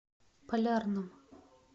полярном